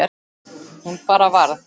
Hún bara varð.